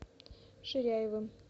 ширяевым